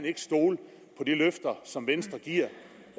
ikke stole på de løfter som venstre giver